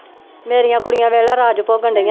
ਮੇਰੀਆਂ ਕੁੜੀਆਂ ਵੇਖ ਲਾ ਰਾਜ ਭੋਗਣਡੀਆਂ